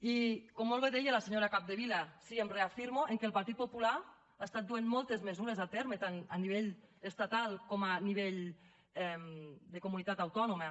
i com molt bé deia la senyora capdevila sí em reafirmo que el partit popular ha estat duent moltes mesures a terme tant a nivell estatal com a nivell de comunitat autònoma